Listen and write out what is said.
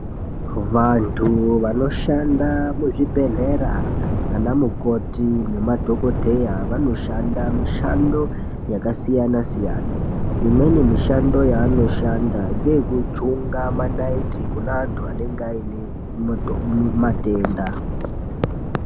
Vantu vanoshanda muzvibhehlera ana mukoti nemadhokodheya vanoshanda mishando yakasiyana siyana. Imweni mishando yavanoshanda ngeyekujunga manaiti kune antu anenge ane matenda.